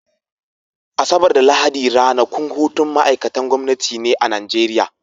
Asabar da Lahadi ranakun hutun ma'aikatan gwamnati ne a Nigeria.